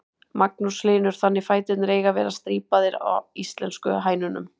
Magnús Hlynur: Þannig fæturnir eiga að vera strípaðar á íslensku hænunum?